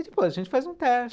E depois a gente faz um teste